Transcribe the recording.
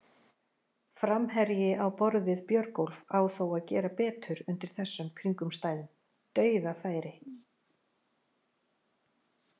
Framherji á borð við Björgólf á þó að gera betur undir þessum kringumstæðum, dauðafæri!